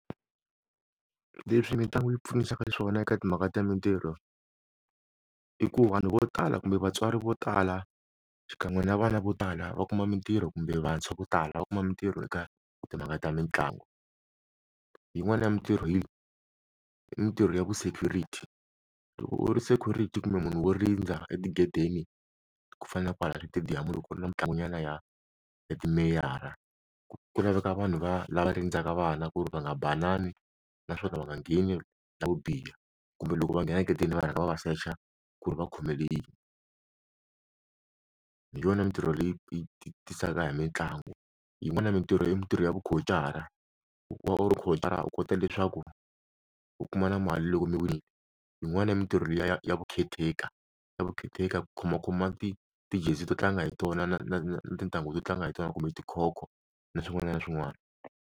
Leswi mitlangu yi pfunisaka xiswona eka timhaka ta mintirho i ku vanhu vo tala kumbe vatswari vo tala xikan'we na vana vo tala va kuma mintirho kumbe vantshwa vo tala va kuma mintirho eka timhaka ta mitlangu, hi yin'wana ya mintirho hi mitirho ya vu security loko u ri security kumbe munhu wo rindza etigedeni ku fana na kwala xitediyamu loko ni na mitlangu nyana ya timeyara ku laveka vanhu va lama rindzaka vana ku ri va nga banana naswona va nga ngheni la wu biha kumbe loko va nghena hleketeni va rhanga va va xuxa ku ri va khomelele yini hi yona mintirho leyi yi tisaka hi mitlangu yin'wana mintirho mintirho ya vu khotshara loko u ri khotshara u kota leswaku u kuma na mali loko mi winile yin'wana yi mintirho ya ya ya vu caretaker ya vu caretaker ku khoma khomiwa ti ti-jersey to tlanga hi tona na na na tintanghu to tlanga hi tona kumbe tikhokho na swin'wana na swin'wana.